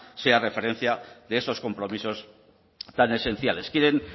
sea referencia de esos compromisos tan esenciales quieren